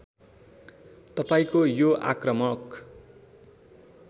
तपाईँको यो आक्रामक